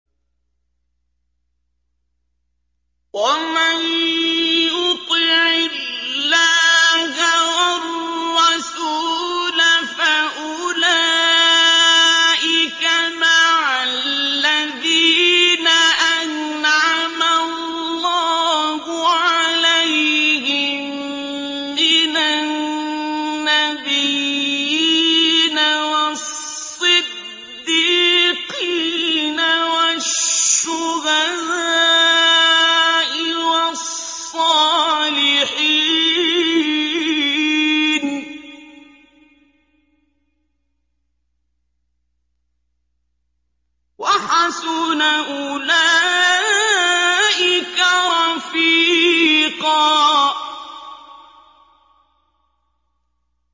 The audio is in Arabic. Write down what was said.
وَمَن يُطِعِ اللَّهَ وَالرَّسُولَ فَأُولَٰئِكَ مَعَ الَّذِينَ أَنْعَمَ اللَّهُ عَلَيْهِم مِّنَ النَّبِيِّينَ وَالصِّدِّيقِينَ وَالشُّهَدَاءِ وَالصَّالِحِينَ ۚ وَحَسُنَ أُولَٰئِكَ رَفِيقًا